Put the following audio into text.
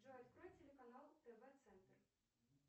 джой открой телеканал тв центр